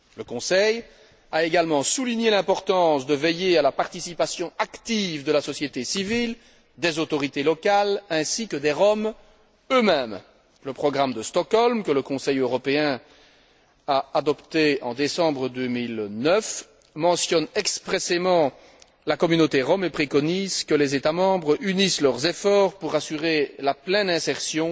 Le Conseil a également souligné l'importance de veiller à la participation active de la société civile, des autorités locales ainsi que des Roms eux mêmes. Le programme de Stockholm, que le Conseil européen a adopté en décembre 2009, mentionne expressément la communauté rom et préconise que les États membres unissent leurs efforts pour assurer la pleine insertion